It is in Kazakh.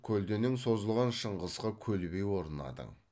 көлденең созылған шыңғысқа көлбей орнадың